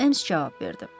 Ems cavab verdi.